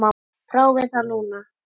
Prófið það núna.